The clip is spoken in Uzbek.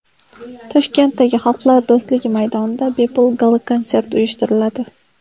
Toshkentdagi Xalqlar do‘stligi maydonida bepul gala-konsert uyushtiriladi.